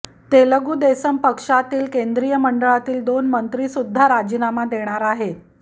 तेलगू देसम पक्षातील केंद्रीय मंडळातील दोन मंत्री सुद्धा राजीनामा देणार आहे